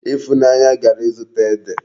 Ifunanya gara izuta Ede